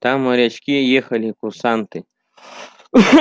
там морячки ехали курсанты